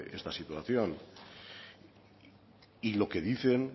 esta situación y lo que dicen